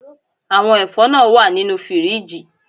Àwọn ẹ̀fọ́ náà wà nínú fíríjì